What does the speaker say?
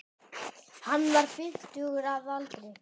Hann var fimmtugur að aldri